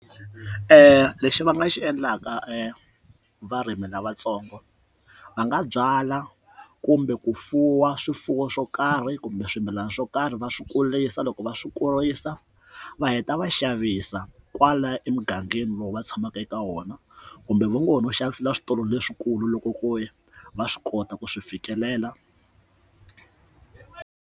Lexi va nga xi endlaka varimi lavatsongo va nga byala kumbe ku fuwa swifuwo swo karhi kumbe swimilana swo karhi va swi kurisa loko va swi kurisa va heta va xavisa kwala emugangeni lowu va tshamaka eka wona kumbe vugono xavisela switolo leswikulu loko ku ri va swi kota ku swi fikelela.